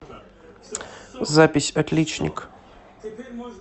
запись отличник